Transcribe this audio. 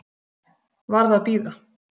Varð að bíða.